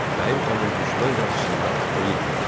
Bəyim xanım düşmən qarşısında əyilmədi.